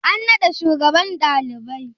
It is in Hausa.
An naɗa shugaban ɗalibai?